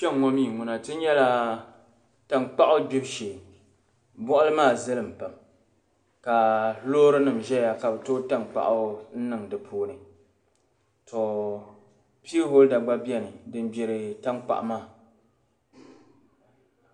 Kpeŋ ŋo mi ŋuna ti nyela tankpaɣu gbibu shee bɔɣili maa zilimmi pam ka loorinim' ʒɛya ka bɛ too tankpaɣu n-niŋ di puuni to pii hɔlda gba beni din gbiri tankpaɣu maa.